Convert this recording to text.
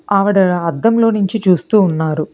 ఆవిడ అద్దంలో నుంచి చూస్తూ ఉన్నారు.